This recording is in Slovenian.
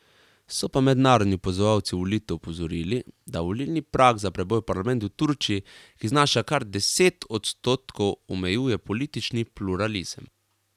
So pa mednarodni opazovalci volitev opozorili, da volilni prag za preboj v parlament v Turčiji, ki znaša kar deset odstotkov, omejuje politični pluralizem.